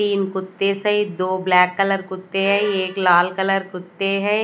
तीन कुत्ते से। दो ब्लैक कलर कुत्ते हैं। एक लाल कलर कुत्ते हैं।